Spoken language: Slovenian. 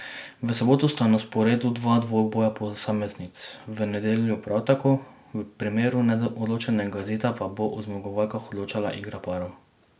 V soboto sta na sporedu dva dvoboja posameznic, v nedeljo prav tako, v primeru neodločenega izida pa bo o zmagovalkah odločala igra parov.